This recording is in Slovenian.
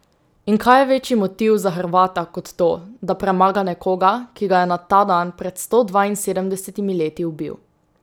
In kaj je večji motiv za Hrvata kot to, da premaga nekoga, ki ga je na ta dan pred sto dvainsedemdesetimi leti ubil?